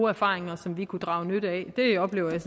erfaringer som vi kunne drage nytte af det oplever jeg